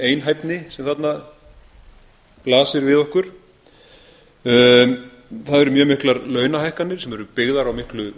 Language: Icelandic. einhæfni sem þarna blasir við okkur það eru mjög miklar launahækkanir sem eru byggðar á miklu